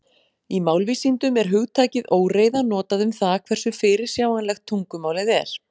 Í málvísindum er hugtakið óreiða notað um það hversu fyrirsjáanlegt tungumálið er.